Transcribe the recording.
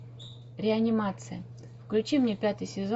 реанимация включи мне пятый сезон